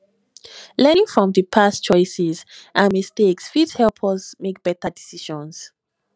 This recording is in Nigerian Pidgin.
learning from di past choices and mistakes fit help us make better decisions